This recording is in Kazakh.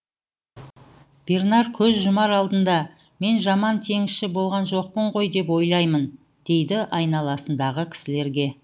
бернар көз жұмар алдында мен жаман теңізші болған жоқпын ғой деп ойлаймын дейді айналасындағы кісілерге